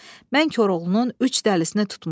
Mən Koroğlunun üç dəlisini tutmuşam.